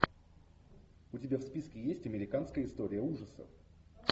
у тебя в списке есть американская история ужасов